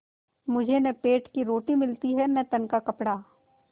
मुझे न पेट की रोटी मिलती है न तन का कपड़ा